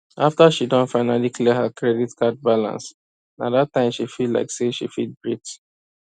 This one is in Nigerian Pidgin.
after she don finally clear her credit card balance nah that time she feel like say she fit breath